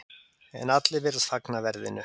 En allir virðast fagna verðinu.